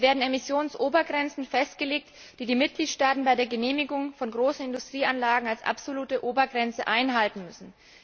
Es werden Emissionsobergrenzen festgelegt, die die Mitgliedstaaten bei der Genehmigung von großen Industrieanlagen als absolute Obergrenze einhalten müssen.